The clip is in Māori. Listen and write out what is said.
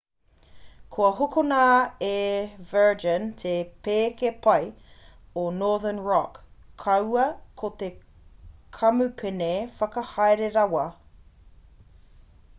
kua hokona e virgin te pēke pai o northern rock kaua ko te kamupene whakahaere rawa